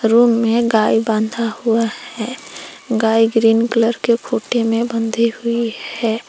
Room में गाय बंधा हुआ है गाय ग्रीन कलर के खूंटी में बंधी हुई है।